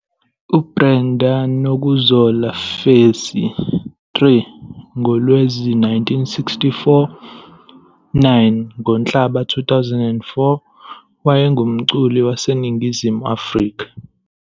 UBrenda Nokuzola Fassie, 3 ngoLwezi 1964 - 9 ngoNhlaba 2004, wayengumculi waseNingizimu Afrika.